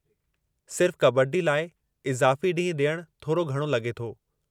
सिर्फ़ कबड्डी लाइ इज़ाफ़ी ॾींहुं ॾियणु थोरो घणो लॻे थो।